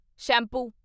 shampoo